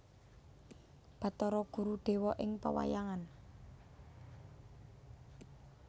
Bathara Guru dewa ing pewayangan